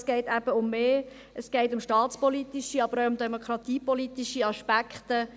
Es geht aber um mehr – es geht um staatspolitische, aber auch um demokratiepolitische Aspekte.